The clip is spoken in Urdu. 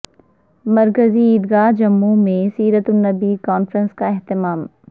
مرکزی عیدگاہ جموںمیں سیر ت النبی کانفرنس کا اہتمام